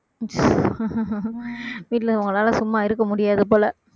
வீட்டிலே உங்களால சும்மா இருக்க முடியாது போல